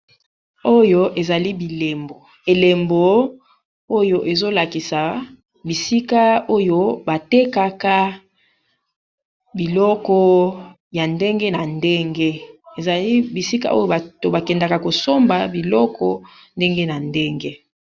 Oyo ezali bilembo, elembo oyo ezolakisa bisika oyo batekaka biloko ya ndenge na ndenge, ezali bisika oyo bato bakendaka kosomba biloko ndenge na ndenge.